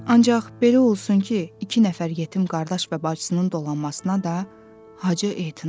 Ancaq belə olsun ki, iki nəfər yetim qardaş və bacısının dolanmasına da Hacı ehtim eləsin.